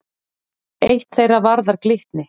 Eitt þeirra varðar Glitni.